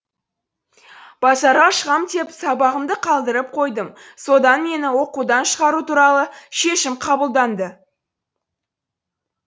базарға шығам деп сабағымды қалдырып қойдым содан мені оқудан шығару туралы шешім қабылданды